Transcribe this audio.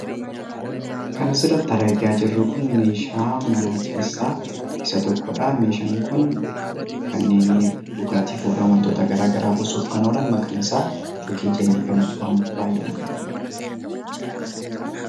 Kan asirratti argaa jirru kun meeshaa manaa keessaa isa tokko dhaa. Meeshaan kun kanneen dhugaatiif oolan wantoota garaagaraa buusuuf kan oolan maqaan isaa 'Jokii' jennee kan nuti waamnu dha baay'inaan.